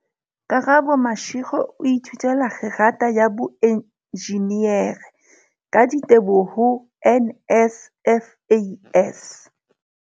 Karabo Mashego o ithutela kgerata ya boenjinere, ka diteboho ho NSFAS.